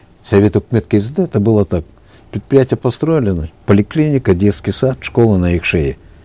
совет үкімет кезінде это было так предприятие построили значит поликлиника детский сад школа на их шее